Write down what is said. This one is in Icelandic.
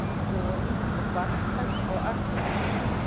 Borin og barnfædd á Akureyri.